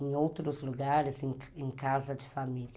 em outros lugares, em casa de família.